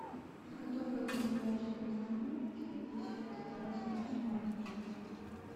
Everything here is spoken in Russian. подготовка к олимпиаде по экономике десятый класс муниципальный тур